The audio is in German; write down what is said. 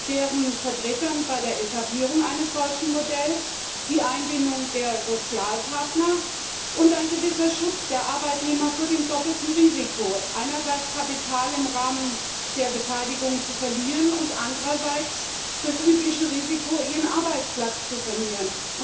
deren Vertreter bei der Etablierung eines solchen Modells, die Einbindung der Sozialpartner und ein gewisser Schutz der Arbeitnehmer vor dem doppelten Risiko einerseits Kapital im Rahmen der Beteiligung zu verlieren und andererseits das übliche Risiko, ihren Arbeitsplatz zu verlieren.